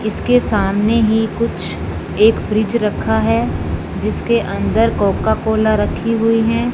इसके सामने ही कुछ एक फ्रिज रखा है जिसके अंदर कोकाकोला रखी हुई है।